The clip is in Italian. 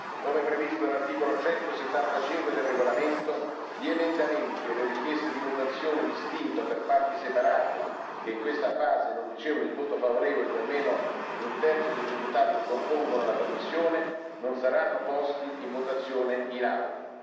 Come previsto dall'articolo 175 del regolamento, gli emendamenti o le richieste di votazione distinta o per parti separate, che in questa fase non ricevono il voto favorevole di almeno un terzo dei deputati che compongono la commissione, non saranno posti in votazione in Aula.